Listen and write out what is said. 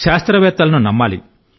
శాస్త్రవేత్తలను నమ్మాలి